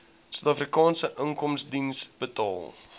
suidafrikaanse inkomstediens betaal